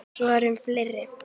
Svo er um fleiri.